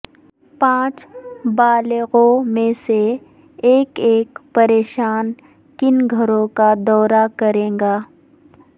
پانچ بالغوں میں سے ایک ایک پریشان کن گھر کا دورہ کرے گا